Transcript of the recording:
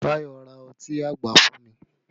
Tayọ ra ọtí àgbà fún mi